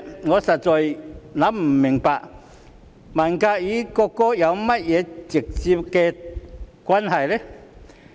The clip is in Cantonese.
我實在想不明白，文革與國歌有何直接關係？